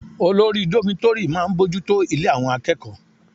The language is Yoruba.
Olórí dómítórì máa bójú tó ilé àwọn akẹ́kọ̀ọ́